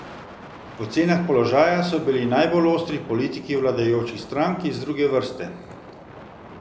V ocenah položaja so bili najbolj ostri politiki vladajočih strank iz druge vrste.